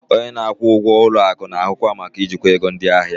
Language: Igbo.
Onye na-akwụ ụgwọ ụlọ akụ na-ahụ maka ijikwa ego ndị ahịa.